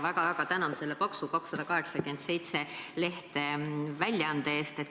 Väga-väga tänan selle paksu – 287 lehekülge – väljaande eest.